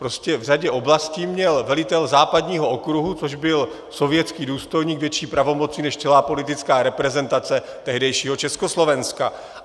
Prostě v řadě oblastí měl velitel západního okruhu, což byl sovětský důstojník, větší pravomoci než celá politická reprezentace tehdejšího Československa.